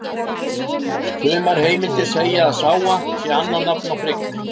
Sumar heimildir segja að Sága sé annað nafn á Frigg.